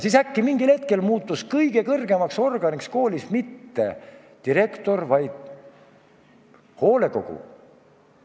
Siis äkki mingil hetkel muutus kõige kõrgemaks organiks koolis mitte direktor, vaid hoolekogu.